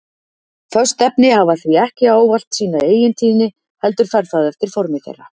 Föst efni hafa því ekki ávallt sína eigintíðni heldur fer það eftir formi þeirra.